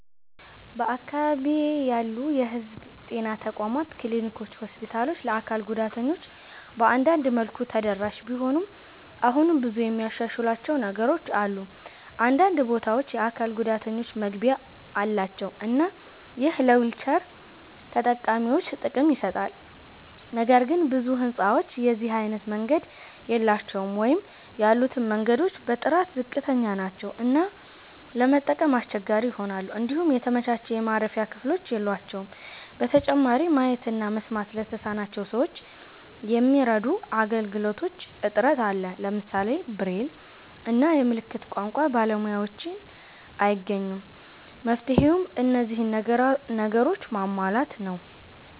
በአካባቢዬ ያሉ የህዝብ ጤና ተቋማት ክሊኒኮችና ሆስፒታሎች ለአካል ጉዳተኞች በአንዳንድ መልኩ ተደራሽ ቢሆኑም አሁንም ብዙ የሚያሻሽሏቸው ነገሮች አሉ። አንዳንድ ቦታዎች የአካል ጉዳተኞች መግቢያ አላቸው እና ይህ ለዊልቸር ተጠቃሚዎች ጥቅም ይሰጣል። ነገር ግን ብዙ ህንጻዎች የዚህ አይነት መንገድ የላቸውም ወይም ያሉትም መንገዶች በጥራት ዝቅተኛ ናቸው እና ለመጠቀም አስቸጋሪ ይሆናሉ። እንዲሁም የተመቻቸ የማረፊያ ክፍሎች የሏቸውም። በተጨማሪም ማየት እና መስማት ለተሳናቸው ሰዎች የሚረዱ አገልግሎቶች እጥረት አለ። ለምሳሌ ብሬል እና የምልክት ቋንቋ ባለሙያዎችን አይገኙም። መፍትሄውም እነዚህን ነገሮች ማሟላት ነው።